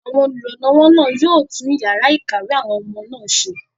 àwọn olùrànlọ́wọ́ náà yóò tún yàrá ìkàwé àwọn ọmọ náà ṣe